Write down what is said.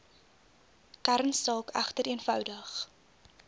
kernsaak egter eenvoudig